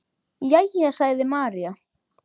Jæja, sagði María.